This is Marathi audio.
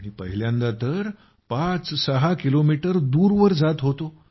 आणि पहिल्यांदा तर ५६ किलोमीटर दूरवर जात होतो